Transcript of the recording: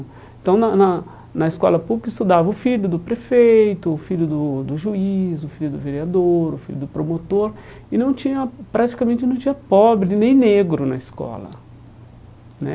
Então, na na na escola pública, estudava o filho do prefeito, o filho do do juiz, o filho do vereador, o filho do promotor, e não tinha praticamente não tinha pobre nem negro na escola né.